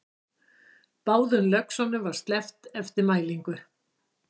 Báðum löxunum var sleppt eftir mælingu